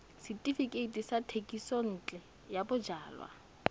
setefikeiti sa thekisontle ya bojalwa